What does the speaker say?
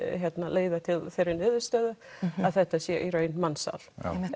leiðir til þeir niðurstöður að þetta sé í raun mansal